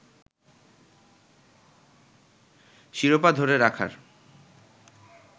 শিরোপা ধরে রাখার